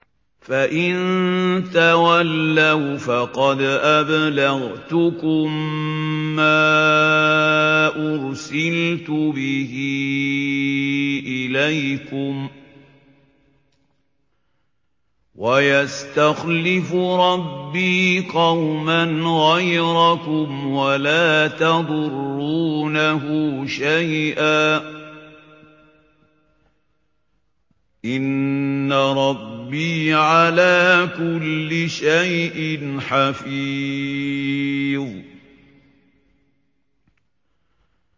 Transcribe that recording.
فَإِن تَوَلَّوْا فَقَدْ أَبْلَغْتُكُم مَّا أُرْسِلْتُ بِهِ إِلَيْكُمْ ۚ وَيَسْتَخْلِفُ رَبِّي قَوْمًا غَيْرَكُمْ وَلَا تَضُرُّونَهُ شَيْئًا ۚ إِنَّ رَبِّي عَلَىٰ كُلِّ شَيْءٍ حَفِيظٌ